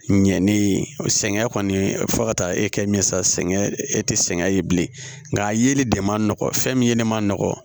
Ɲɛnen sɛgɛn kɔni fo ka taa e kɛ min saŋɛ e te sɛgɛn ye bilen nka a yeli de ma nɔgɔ fɛn min yelen ma nɔgɔ